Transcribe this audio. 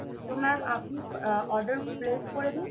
এবার আপনি order press করে দিন